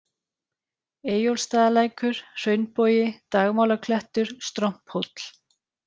Eyjólfsstaðalækur, Hraunbogi, Dagmálaklettur, Stromphóll